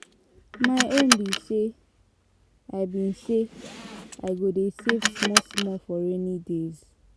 My own be say I been say i go dey save small small for rainy day.